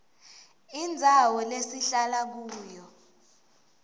indzawo lesihlala kuyo